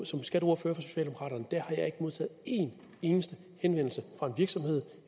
som skatteordfører for socialdemokraterne modtaget en eneste henvendelse fra en virksomhed